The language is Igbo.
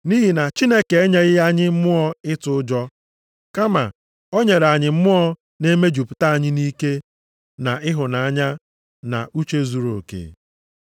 Nʼihi na Chineke enyeghị anyị mmụọ ịtụ ụjọ, kama o nyere anyị mmụọ na-emejupụta anyị nʼike, na ịhụnanya, na uche zuruoke.